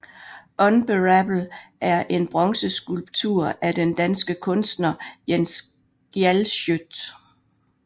Unbearable er en bronzeskulptur af den danske kunstner Jens Galschiøt